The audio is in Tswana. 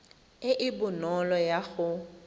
e e bonolo ya go